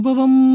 அனுபவம்